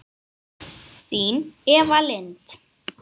Þín Eva Lind.